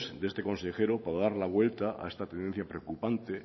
de este consejero para dar la vuelta a esta tendencia preocupante